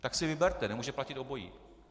Tak si vyberte, nemůže platit obojí.